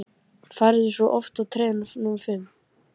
Færðu svo aftur treyjuna númer fimm?